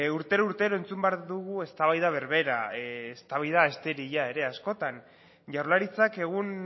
urtero urtero entzun behar dugu eztabaida berbera eztabaida esterila ere askotan jaurlaritzak egun